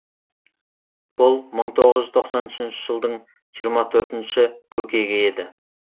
бұл мың тоғыз жүз тоқсан үшінші жылдың жиырма төртінші көкегі еді